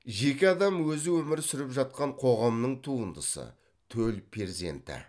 жеке адам өзі өмір сүріп жатқан қоғамның туындысы төл перзенті